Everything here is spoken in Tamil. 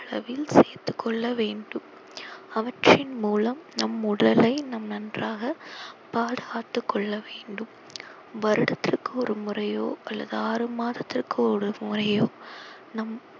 அளவில் சேர்த்துக் கொள்ள வேண்டும் அவற்றின் மூலம் நம் உடலை நாம் நன்றாக பாதுகாத்துக் கொள்ளவேண்டும் வருடத்திற்கு ஒரு முறையோ அல்லது ஆறு மாதத்திற்கு ஒரு முறையோ நம்